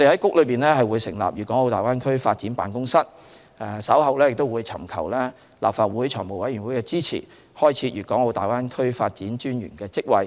局內亦將成立粵港澳大灣區發展辦公室，稍後亦會尋求立法會財務委員會支持開設粵港澳大灣區發展專員的職位。